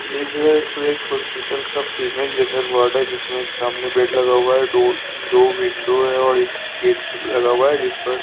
ये जो है सो एक हॉस्पिटल का फीमेल जनरल वार्ड है जिसमे एक सामने बेड लगा हुआ है डो दो विंडो है और एक गेट लगा हुआ है जिस पर --